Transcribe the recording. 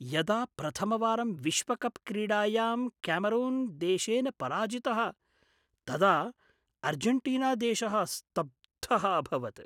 यदा प्रथमवारं विश्वकप्क्रीडायां क्यामरून् देशेन पराजितः तदा आर्जेण्टीना देशः स्तब्धः अभवत्।